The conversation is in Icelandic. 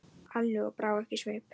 Ali og brá ekki svip.